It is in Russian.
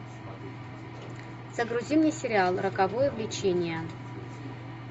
загрузи мне сериал роковое влечение